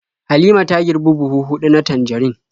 Halima ta girbi buhu huɗu na tanjarin.